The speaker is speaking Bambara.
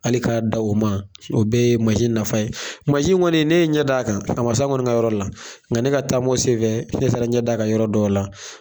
Hali k'a dan o ma o bɛɛ ye mansin nafa ye mansin kɔni ne ɲɛ d'a kan a ma s'anw ka kɔni ka yɔrɔ la nka ne ka taamaw senfɛ ne taara n ɲɛ d'a kan yɔrɔ dɔw la